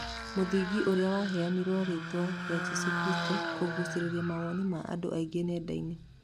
Mũthigiti ũrĩa waheirwo rĩtwa rĩa 'Jĩsũ Kristo' kũgũcĩrĩria mawoni ma andũ aingĩ nendainĩ.